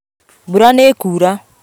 Mbura nĩĩkuura